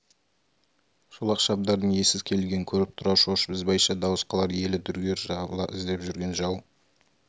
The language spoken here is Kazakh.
шолақ шабдардың иесіз келгенін көріп тұрар шошыр ізбайша дауыс қылар ел дүрлігер жабыла іздеп жүрген жау